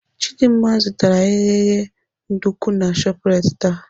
Chidimma zụtara eghereghe nduku na Shoprite taa.